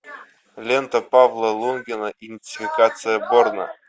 лента павла лунгина идентификация борна